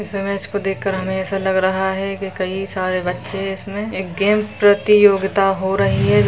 इस इमेज को देख कर हमे ऐसा लग रहा है कि कई सारे बच्चे इसमें एक गेम प्रतियोगिता हो रही है।